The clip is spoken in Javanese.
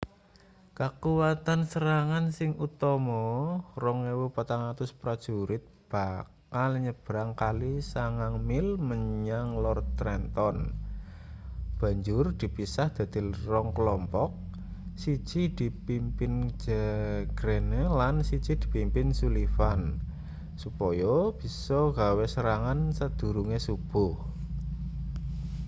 kakuwatan serangan sing utama 2.400 prajurit bakal nyebrang kali 9 mil menyang lor trenton banjur dipisah dadi 2 klompok siji dipimpin greene lan siji dipimpin sullivan supaya bisa gawe serangan sadurunge-subuh